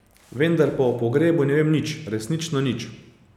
Vendar pa o pogrebu ne vem nič, resnično nič.